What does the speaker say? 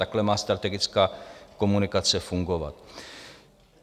Takhle má strategická komunikace fungovat.